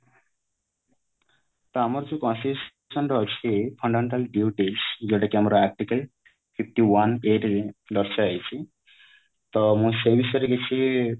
ତ ଆମର ଯୋଉ ରେ ଅଛି fundamental duties ଯୋଉଟା କି ଆମର article fifty one A ରେ ଦର୍ଶା ଯାଇଛି ତ ମୁଁ ସେଇ ବିଷୟରେ କିଛି